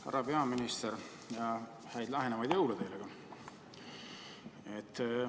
Härra peaminister, häid lähenevaid jõule teile ka!